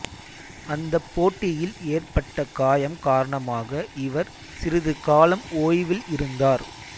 அந்தப் போட்டியில் ஏற்பட்ட காயம் காரணமாக இவர் சிறிது காலம் ஓய்வில் இருந்தார்